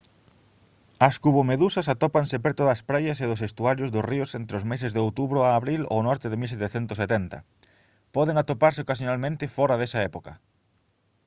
as cubomedusas atópanse preto das praias e dos estuarios dos ríos entre os meses de outubro a abril ao norte de 1770 poden atoparse ocasionalmente fóra desa época